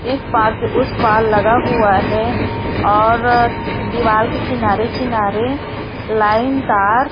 इस पार से उस पार लगा हुआ है और दीवाल के किनारे किनारे लाइन तार--